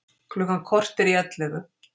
Klukkan korter í ellefu